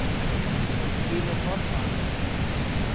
Hann hafði keypt bílinn notaðan.